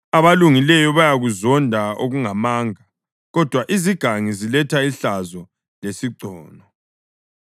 Abalungileyo bayakuzonda okungamanga, kodwa izigangi ziletha ihlazo lesigcono.